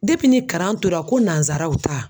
ni karan tora ko nansaraw ta